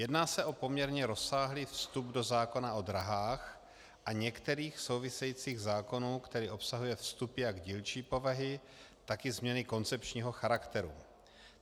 Jedná se o poměrně rozsáhlý vstup do zákona o dráhách a některých souvisejících zákonů, který obsahuje vstupy jak dílčí povahy, tak i změny koncepčního charakteru.